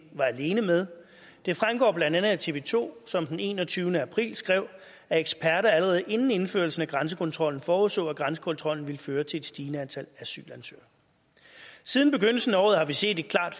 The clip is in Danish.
var alene med det fremgår blandt andet af tv to som den enogtyvende april skrev at eksperter allerede inden indførelsen af grænsekontrollen forudså at grænsekontrollen ville føre til et stigende antal asylansøgere siden begyndelsen af året har vi set en klart